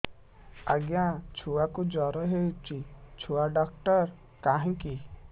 ଆଜ୍ଞା ଛୁଆକୁ ଜର ହେଇଚି ଛୁଆ ଡାକ୍ତର କାହିଁ କି